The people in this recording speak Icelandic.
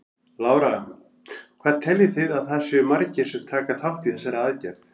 Lára: Hvað teljið þið að það séu margir sem taka þátt í þessari aðgerð?